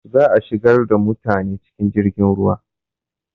Za a shigar da mutane cikin jirgin ruwa.